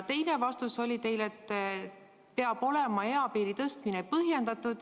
Teine vastus oli teil, et eapiiri tõstmine peab olema põhjendatud.